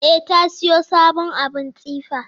E, ta siyo sabon abun tsife.